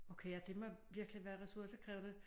Okay ja det må virkelig være ressourcekrævende